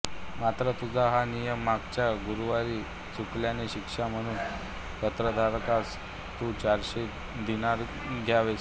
मात्र तुझा हा नियम मागच्या गुरुवारी चुकल्याने शिक्षा म्हणून पत्रधारकास तू चारशे दिनार द्यावेस